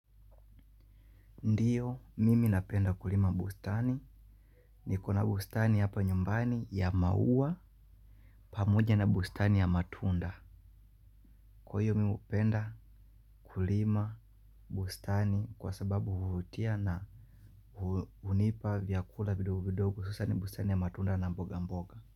Ndiyo, mimi napenda kulima bustani. Niko na bustani hapa nyumbani ya maua pamoja na bustani ya matunda. Kwa iyo mimi upenda kulima bustani kwa sababu huvutia na unipa vyakula vidogo vidogo. Hususan bustani ya matunda na mboga mboga.